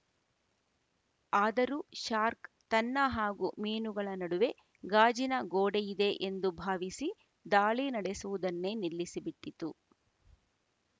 ಆದರೂ ಶಾರ್ಕ್ ತನ್ನ ಹಾಗೂ ಮೀನುಗಳ ನಡುವೆ ಗಾಜಿನ ಗೋಡೆಯಿದೆ ಎಂದು ಭಾವಿಸಿ ದಾಳಿ ನಡೆಸುವುದನ್ನೇ ನಿಲ್ಲಿಸಿಬಿಟ್ಟಿತು